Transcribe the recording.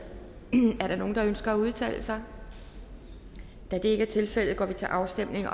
er der nogen der ønsker at udtale sig da det ikke er tilfældet går vi til afstemning